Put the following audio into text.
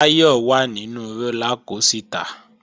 Táyọ̀ wà nínu rólá kosìtà